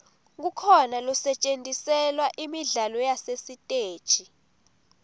kukhona losetjentiselwa imidlalo yasesiteji